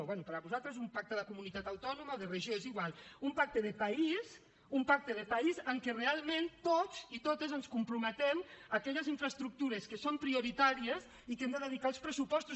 bé per a vosaltres un pacte de comunitat autònoma o de regió és igual un pacte de país un pacte de país en què realment tots i totes ens comprometem a aquelles infraestructures que són prioritàries i que hem de dedicar als pressupostos